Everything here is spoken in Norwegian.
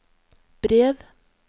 brev